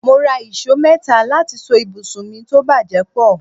Mo rà ìṣó mẹ́ta láti so ibùsùn mi tó bàjẹ́ pọ̀